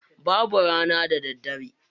Babu rana da daddare.